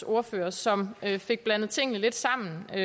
ordfører som fik blandet tingene lidt sammen i